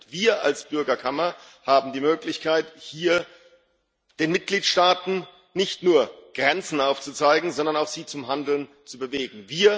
Wir als Bürgerkammer haben die Möglichkeit, hier den Mitgliedstaaten nicht nur Grenzen aufzuzeigen, sondern sie auch zum Handeln zu bewegen.